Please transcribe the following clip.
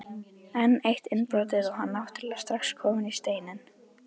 Enn eitt innbrotið og hann náttúrulega strax kominn í Steininn.